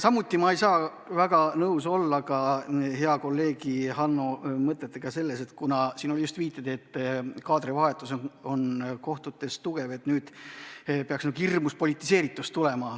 Samuti ei saa ma nõus olla hea kolleegi Hanno mõttega, et kuna siin sai viidatud, et kaadrivahetus on kohtutes suur, siis algab nüüd hirmus politiseerimine.